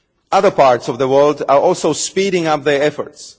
Other parts of the world are also speeding up their efforts